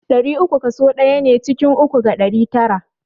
Ɗari uku kaso ɗaya ne ciki uku ga ɗari tara.